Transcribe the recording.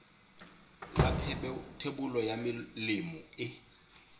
la thebolo ya melemo e